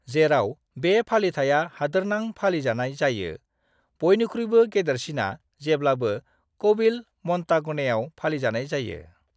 जेराव बे फालिथाइया हादोरनां फालिजानाय जायो, बयनिख्रुइबो गेदेरसिना जेब्लाबो क'विल म'न्टागनेआव फालिजानाय जायो।